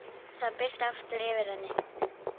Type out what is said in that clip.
Það birti aftur yfir henni.